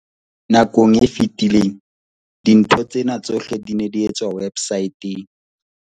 Nakong e fetileng, dintho tsena tsohle di ne di etswa websaeteng.